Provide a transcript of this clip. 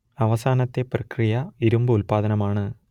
അവസാനത്തെ പ്രക്രിയ ഇരുമ്പ് ഉല്പാദനമാണ്